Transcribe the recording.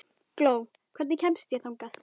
Gló, hvernig kemst ég þangað?